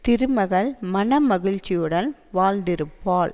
திருமகள் மன மகிழ்ச்சியுடன் வாழ்ந்திருப்பாள்